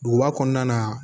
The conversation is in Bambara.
Duguba kɔnɔna na